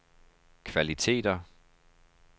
kvaliteter